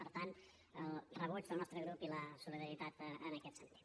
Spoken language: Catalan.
per tant el rebuig del nostre grup i la solidaritat en aquest sentit